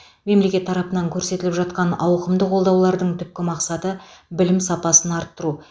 мемлекет тарапынан көрсетіліп жатқан ауқымды қолдаулардың түпкі мақсаты білім сапасын арттыру